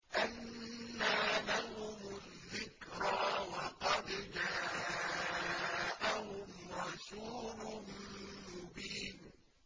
أَنَّىٰ لَهُمُ الذِّكْرَىٰ وَقَدْ جَاءَهُمْ رَسُولٌ مُّبِينٌ